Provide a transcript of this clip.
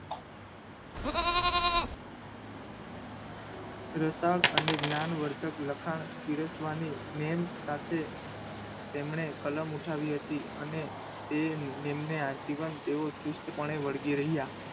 અને જ્ઞાનવર્ધક લખાણ પીરસવાની નીમ સાથે તેમણે કલમ ઉઠાવી હતી અને તે નીમને તે આજીવન તેઓ ચુસ્તપણે વળગી રહ્યા.